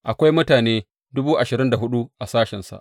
Akwai mutane dubu ashirin da hudu a sashensa.